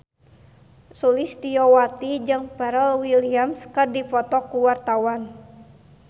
Sulistyowati jeung Pharrell Williams keur dipoto ku wartawan